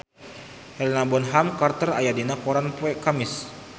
Helena Bonham Carter aya dina koran poe Kemis